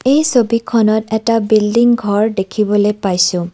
এই ছবিখনত এটা বিল্ডিং ঘৰ দেখিবলে পাইছোঁ।